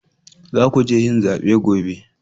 Za ku je yin zabe gobe